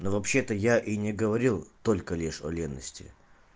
ну вообще-то я и не говорил только лишь о ревности